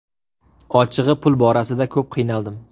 Ochig‘i, pul borasida ko‘p qiynaldim.